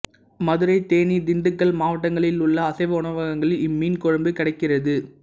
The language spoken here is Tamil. மதுரை தேனி திண்டுக்கல் மாவட்டங்களிலுள்ள அசைவ உணவகங்களில் இம்மீன் குழம்பு கிடைக்கிறது